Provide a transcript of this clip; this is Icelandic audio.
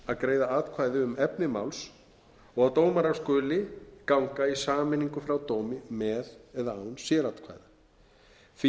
að greiða atkvæði um efni máls og dómara skulu ganga í sameiningu frá dómi með eða án sératkvæða því